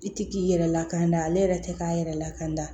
I tɛ k'i yɛrɛ lakana ale yɛrɛ tɛ k'a yɛrɛ lakada